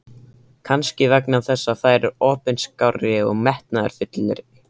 Kannski vegna þess að þær eru opinskárri og metnaðarfyllri.